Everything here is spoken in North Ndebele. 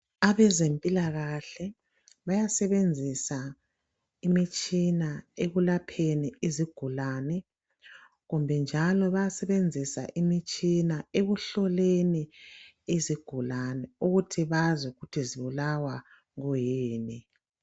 Abezempilakahle bayasebenzisa imitshina ekulapheni izigulane kumbe njalo bayasebenzisa imitshina ekuhloleni izigulane ukuthi bazi ukuthi zibulawa kuyini.